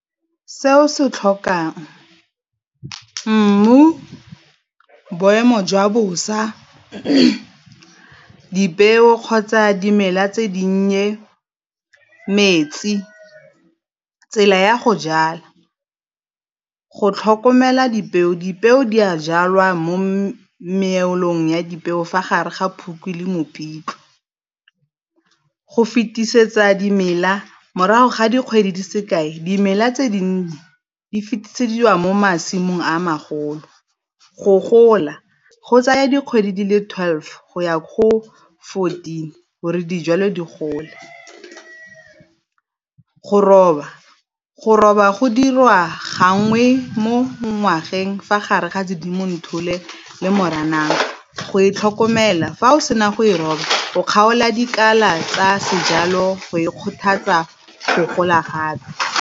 Se o se tlhokang mmu, boemo jwa bosa, dipeo kgotsa dimela tse di nnye, metsi. Tsela ya go jala go tlhokomela dipeo, dipeo di a jalwa mo meelong ya dipeo fa gare ga Phukwi le Mopitlwe. Go fetisetsa dimela morago ga dikgwedi di se kae dimela tse dinnye di fitisediwa mo masimong a magolo. Go gola go tsaya dikgwedi di le twelve go ya ko go fourteen gore dijalo di gole. Go roba go roba go dirwa gangwe mo ngwageng fa gare ga Sedimonthole le Moranang go e tlhokomela fa o sena go e roba o kgaola dikala tsa sejalo go e kgothatsa go gola gape.